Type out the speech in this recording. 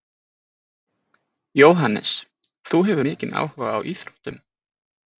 Jóhannes: Þú hefur mikinn áhuga á íþróttum?